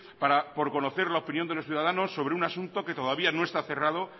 para por conocer la opinión de los ciudadanos sobre un asunto que todavía no está cerrado